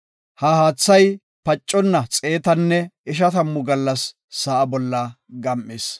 He haathay pacconna xeetanne ishatamu gallas sa7a bolla gam7is.